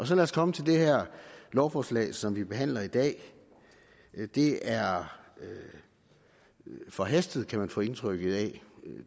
så lad os komme til det her lovforslag som vi behandler i dag det er forhastet kan man få indtryk af